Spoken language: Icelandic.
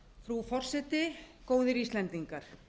frú forseti góðir íslendingar